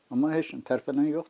Amma heç nə tərpənən yoxdur.